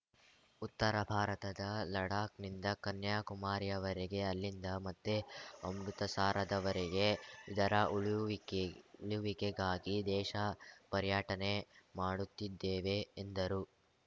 ಉತ್ತರ ಭಾರತದ ಲಡಾಕ್‌ ನಿಂದ ಕನ್ಯಾಕುಮಾರಿಯವರೆಗೆ ಅಲ್ಲಿಂದ ಮತ್ತೆ ಅಮೃತಸಾರದವರೆಗೆ ಇದರ ಉಳುವಿಕೆ ಉಳುವಿಕೆಗಾಗಿ ದೇಶ ಪರ್ಯಟನೆ ಮಾಡುತ್ತಿದ್ದೇವೆ ಎಂದರು